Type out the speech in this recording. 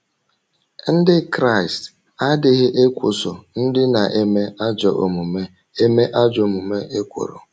Ndị Kraịst adịghị ‘ ekwoso ndị na - eme ajọ omume eme ajọ omume ekworo ’